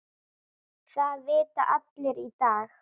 Það vita allir í dag.